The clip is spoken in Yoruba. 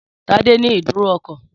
Tádé ní ìdúró ọkọ̀